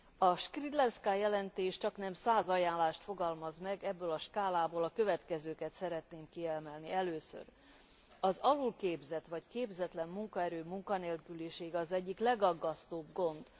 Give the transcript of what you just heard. A Skrzydlewska jelentés csaknem 100 ajánlást fogalmaz meg, ebből a skálából a következőket szeretném kiemelni Először az alulképzett vagy képzetlen munkaerő munkanélkülisége az egyik legaggasztóbb gond.